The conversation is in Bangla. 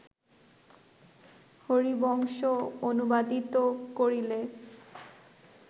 হরিবংশ অনুবাদিত করিলে